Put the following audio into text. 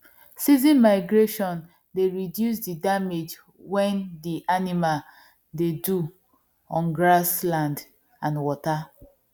season migration dey reduced the damage when the animal dey do on grass land and water